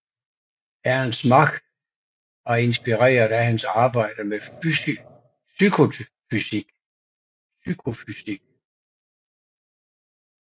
Ernst Mach var inspireret af hans arbejde med psykofysik